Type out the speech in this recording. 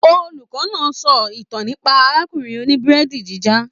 Olùkọ náà sọ ìtàn nípa arákùnrin òní-burẹdi jìnjà.